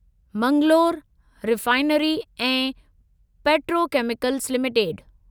Mangalore refinery ऐं petrochemicals limited